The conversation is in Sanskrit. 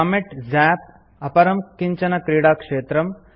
कॉमेट् झप् - अपरं किञ्चन क्रीडाक्षेत्रम्